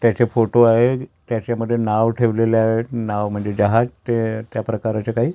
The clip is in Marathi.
त्याचे फोटो आहेत त्याच्यामध्ये नाव ठेवलेले आहेत नाव जहाज त्या प्रकाराचे काही--